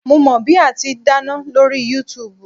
Mo mọ bí ati n dáná lórí Yúutùbù